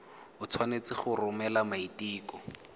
o tshwanetse go romela maiteko